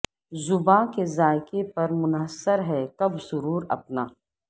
زباں کے ذائقے پر منحصر ہے کب سرور اپنا